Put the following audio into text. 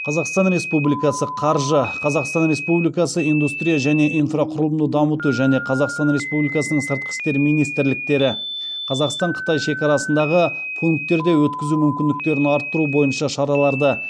қазақстан республикасы қаржы қазақстан республикасы индустрия және инфрақұрылымды дамыту және қазақстан республикасының сыртқы істер министрліктері қазақстан қытай шекарасындағы пункттерде өткізу мүмкіндіктерін арттыру бойынша шараларды